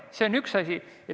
See on üks asi.